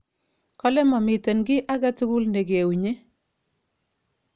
Kole momiten kit agetugul negeunyi.